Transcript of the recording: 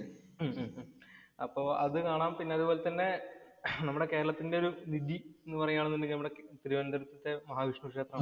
ഉം ഉം അപ്പൊ അത് കാണാം. അപ്പൊ അതുപോലെ തന്നെ നമ്മുടെ കേരളത്തിന്‍റെ ഒരു നിധി എന്ന് പറയുകയാണെന്ന് ഉണ്ടെങ്കി നമ്മുടെ തിരുവന്തപുരത്തെ മഹാവിഷ്ണു ക്ഷേത്രമാണ്.